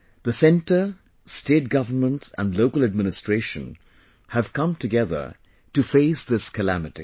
The Centre, State governments and local administration have come together to face this calamity